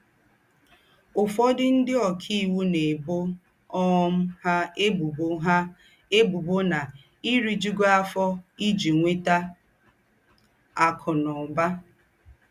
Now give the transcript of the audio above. Ụ́fọ̀dụ̀ ńdị́ ọ́kaìwù ná-èbò um ha ébùbò ha ébùbò ná-èrìjùghí áfọ̀ íjí nwètà àkụ́ na ụ́bà.